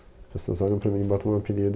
As pessoas olham para mim e botam um apelido.